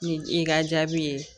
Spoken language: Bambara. Ni i ka jaabi ye